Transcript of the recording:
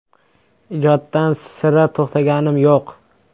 Ijoddan sira to‘xtaganim yo‘q.